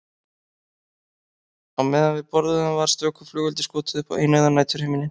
Á meðan við borðuðum var stöku flugeldi skotið upp á eineygðan næturhimininn.